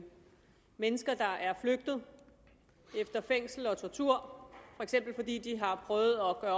mennesker der er flygtet efter fængselsophold og tortur for eksempel fordi de har prøvet at